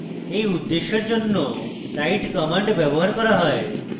এই উদ্দেশ্যের জন্য write command ব্যবহার করা হয়